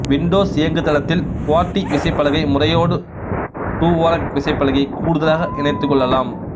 Windows இயங்குதளத்தில் QWERTY விசைப் பலகை முறையோடு டுவோரக் விசைப்பலகையைக் கூடுதலாக இணைத்துக் கொள்ளலாம்